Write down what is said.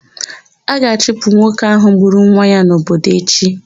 A ga-achụpụ nwoke ahụ gburu nwa ya n'obodo echi.